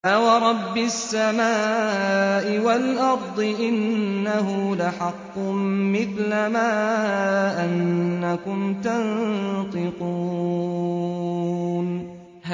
فَوَرَبِّ السَّمَاءِ وَالْأَرْضِ إِنَّهُ لَحَقٌّ مِّثْلَ مَا أَنَّكُمْ تَنطِقُونَ